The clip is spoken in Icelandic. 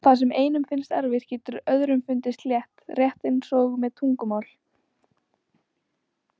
Það sem einum finnst erfitt getur öðrum fundist létt, rétt eins og með tungumál.